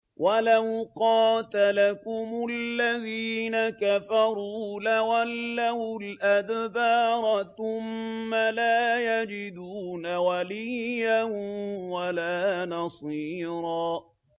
وَلَوْ قَاتَلَكُمُ الَّذِينَ كَفَرُوا لَوَلَّوُا الْأَدْبَارَ ثُمَّ لَا يَجِدُونَ وَلِيًّا وَلَا نَصِيرًا